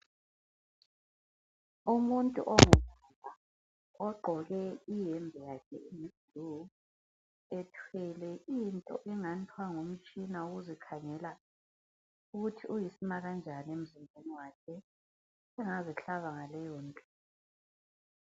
Umuntu ongubaba ogqoke iyembe yakhe eyi -blue ethwele into engathwa ngumtshina wokuzikhangela ukuthi uyisima kanjani emzimbeni wakhe, sengazihlaba ngaleyonto.